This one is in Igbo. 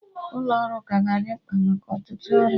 Ụlọ ọrụ ka ga-adị mkpa maka ọtụtụ ọrụ